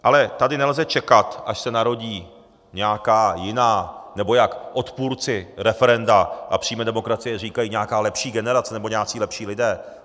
Ale tady nelze čekat, až se narodí nějaká jiná, nebo jak odpůrci referenda a přímé demokracie říkají, nějaká lepší generace nebo nějací lepší lidé.